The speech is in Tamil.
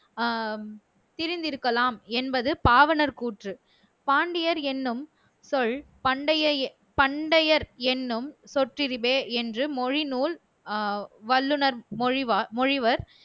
ஆஹ் திரிந்திருக்கலாம் என்பது பாவணர் கூற்று. பாண்டியர் எண்ணும் சொல் பண்டையயே பண்டையர் எண்ணும் சொற்றிரிவே என்று மொழிநூல் ஆஹ் வல்லுநர் மொழிவ மொழிவர்